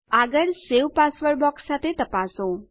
આગળ સવે password box સાથે તપાસો